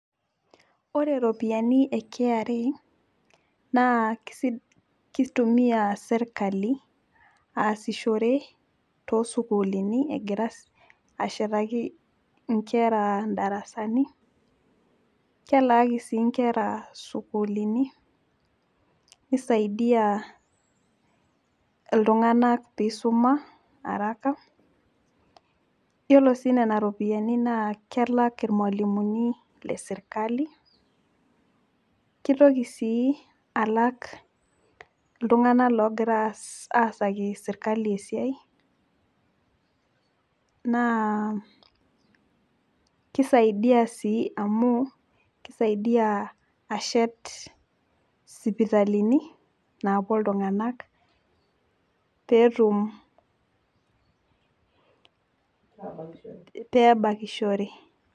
Ore iropiyiani e KRA naa keitumiya sirtkali aasishore to sukuluuni egira ashetaki inkera ndarasani, kelaaki sii inkera sukuulini, neisaidia ltunganak peisuma haraka iyolo sii nenia iropiyiani naa kelak ilmwalumuni le sirkali, keitoki sii alak ltungana loogira aasaki sirkali esiai, naa keisaidia sii amuu, keisaidia shet sipitalini naapuo ltunganak peetum pee ebakishore.